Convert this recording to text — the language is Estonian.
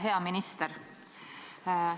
Hea minister!